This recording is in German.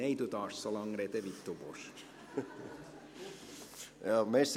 Nein, Sie dürfen so lange sprechen, wie Sie wollen.